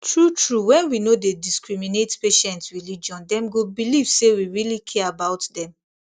true true when we no dey discriminate patient religion dem go believe say we really care about dem